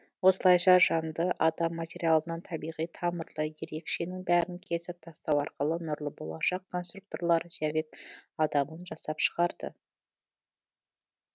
осылайша жанды адам материалынан табиғи тамырлы ерекшенің бәрін кесіп тастау арқылы нұрлы болашақ конструкторлары совет адамын жасап шығарды